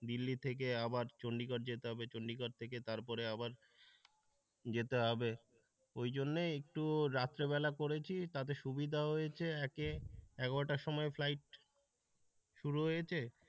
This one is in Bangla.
দিল্লি থেকে আবার চন্ডিগড় যেতে হবে চন্ডিগড় থেকে তারপরে আবার যেতে হবে ওই জন্য একটু রাত্রেবেলা করেছি তাতে সুবিধা হয়েছে একে এগারো টার সময় ফ্লাইট শুরু হয়েছে,